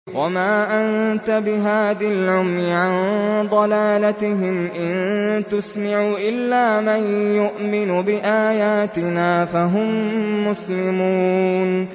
وَمَا أَنتَ بِهَادِي الْعُمْيِ عَن ضَلَالَتِهِمْ ۖ إِن تُسْمِعُ إِلَّا مَن يُؤْمِنُ بِآيَاتِنَا فَهُم مُّسْلِمُونَ